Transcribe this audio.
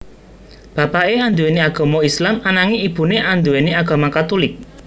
Bapaké anduwèni agama Islam ananging ibuné anduwèni agama Katulik